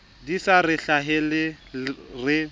di sa re hlahele re